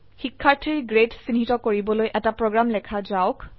শিক্ষাৰ্থীৰ গ্ৰেড চিহ্নিত কৰিবলৈ এটা প্ৰোগ্ৰাম লেখা যাওক